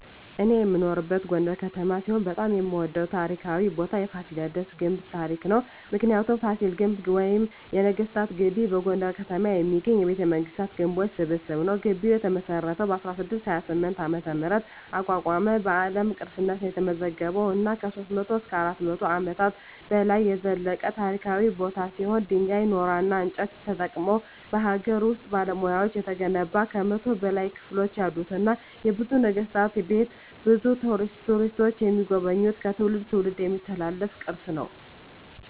እኔ የምኖርበት ጎንደር ከተማ ሲሆን በጣም የምወደው ታሪካዊ ቦታ የፋሲለደስ ግንብ ታሪክ ነው። ምክንያቱ : ፋሲል ግንብ ወይም ነገስታት ግቢ በጎንደር ከተማ የሚገኝ የቤተመንግስታት ግንቦች ስብስብ ነው። ግቢው የተመሰረተው በ1628 ዓ.ም አቋቋመ በአለም ቅርስነት የተመዘገበ እና ከ300-400 አመታት በላይ የዘለቀ ታሪካዊ ቦታ ሲሆን ድንጋይ ,ኖራና እንጨት ተጠቅመው በሀገር ውስጥ ባለሙያዎች የተገነባ ከ100 በላይ ክፍሎች ያሉትና የብዙ ነገስታት ቤት ብዙ ቱሪስቶች የሚጎበኙት ከትውልድ ትውልድ የሚተላለፍ ቅርስ ነው።